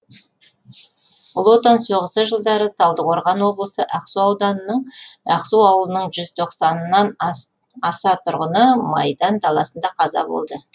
ұлы отан соғысы жылдары талдықорған облысы ақсу ауданының ақсу ауылының жүз тоқсаннан аса тұрғыны майдан даласында қаза болды